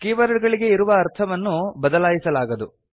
keyword ಗಳಿಗೆ ಇರುವ ಅರ್ಥವನ್ನು ಬದಲಾಯಿಸಲಾಗದು